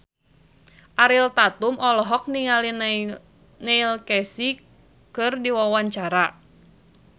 Ariel Tatum olohok ningali Neil Casey keur diwawancara